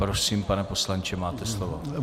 Prosím, pane poslanče, máte slovo.